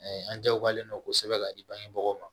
an jagoyalen don kosɛbɛ ka di bangebagaw ma